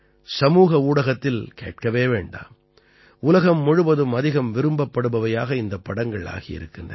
சமூக ஊடகத்தில் கேட்கவே வேண்டாம் உலகம் முழுவதும் அதிகம் விரும்பப்படுபவையாக இந்தப் படங்கள் ஆகி இருக்கின்றன